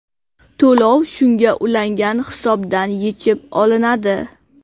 To‘lov shunga ulangan hisobdan yechib olinadi.